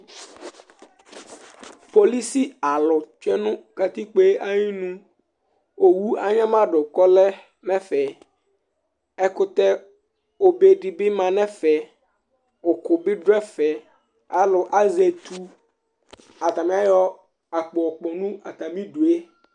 Polisialʋ tsue nʋ katikpo yɛ ayinu Owu anyama dʋ kʋ ɔlɛ nʋ ɛfɛ Ɛkʋtɛ obe dɩ bɩ ma nʋ ɛfɛ Ʋkʋ bɩ dʋ ɛfɛ Alʋ azɛ etu Atanɩ ayɔ akpo yɔkpɔ nʋ atamɩdu yɛ